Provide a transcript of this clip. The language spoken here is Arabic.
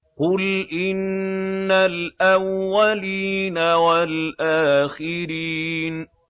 قُلْ إِنَّ الْأَوَّلِينَ وَالْآخِرِينَ